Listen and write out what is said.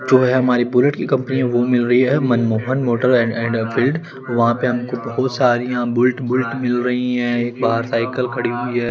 जो है हमारी बुलेट की कंपनी है वो मिल रही है मनमोहन मोटर एंड एनफील्ड वहां पे हमको बहुत सारियां बुल्ट बुल्ट मिल रही हैं एक बाहर साइकिल खड़ी हुई हैं।